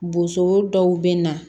Boson dɔw bɛ na